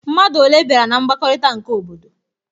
Mmadụ one bịara na mgbakọrịta nke obodo?